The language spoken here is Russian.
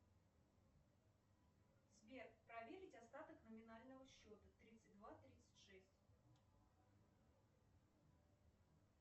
сбер проверить остаток номинального счета тридцать два тридцать шесть